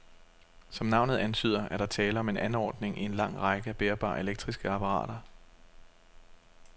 Som navnet antyder, er der tale om en anordning i en lang række af bærbare elektriske apparater.